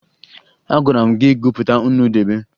Agwara m gị gụpụta nnu debe!